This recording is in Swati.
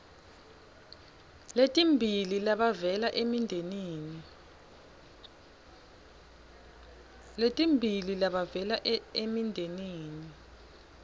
letimbili labavela emindenini